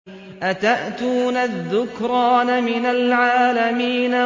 أَتَأْتُونَ الذُّكْرَانَ مِنَ الْعَالَمِينَ